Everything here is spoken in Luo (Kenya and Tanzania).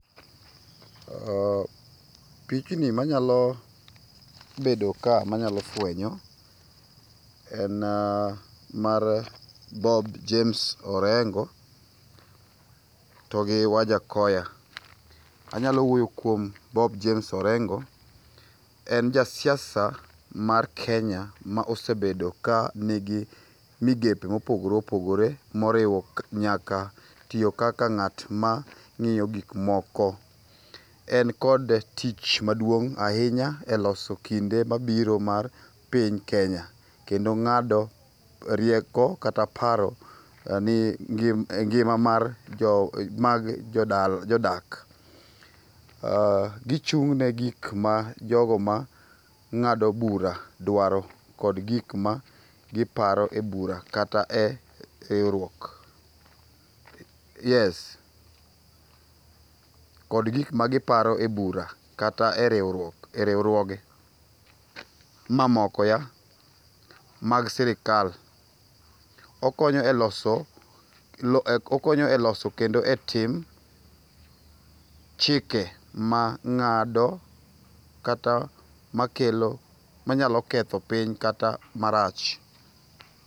Pichni manyalo bedo ka manyalo fuenyo, en mar Bob James Orengo to gi Wajakoyah. Anyalo wuoyo kuom Bob James Orengo. En jasiasa mar Kenya ma osebedo ka nigi migepe mopogore opogore moriwo nyaka tiyo kaka ng'at ma ng'iyo gikmoko. En kod tich maduong ahinya e loso kinde mabiro mar piny Kenya. Kendo ng'ado rieko kata paro e ngima mar jo mag jodak. Gichung' ne gik ma jogo ma ng'ado bura dwaro kod gikma giparo e bura kata e riuruok. Yes kod gikma giparo e bura kata e riuruok e riurwoge mamoko ya mag sirkal. Okonyo e loso okonyo e loso kendo e tim chike ma ng'ado kata makelo manyalo ketho piny kata marach.